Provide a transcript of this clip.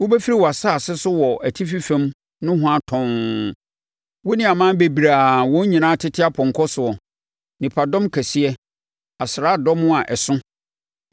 Wobɛfiri wʼasase so wɔ atifi fam nohoa tɔnn, wo ne aman bebree a wɔn nyinaa tete apɔnkɔ soɔ, nipadɔm kɛseɛ, asraadɔm a ɛso.